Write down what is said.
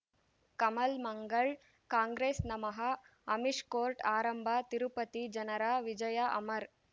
ಕಮಲ್ ಮಂಗಳ್ ಕಾಂಗ್ರೆಸ್ ನಮಃ ಅಮಿಷ್ ಕೋರ್ಟ್ ಆರಂಭ ತಿರುಪತಿ ಜನರ ವಿಜಯ ಅಮರ್